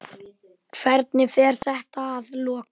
Hvernig fer þetta að lokum?